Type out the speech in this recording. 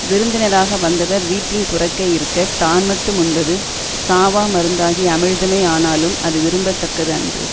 விருந்தினராக வந்தவர் வீட்டின் புறத்தே இருக்க தான் மட்டும் உண்பது சாவாமருந்தாகிய அமிழ்தமே ஆனாலும் அது விரும்ப தக்கது அன்று